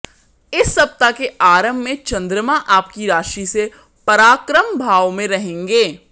इस सप्ताह के आरंभ में चंद्रमा आपकी राशि से पराक्रम भाव में रहेंगें